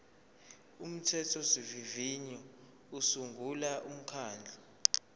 umthethosivivinyo usungula umkhandlu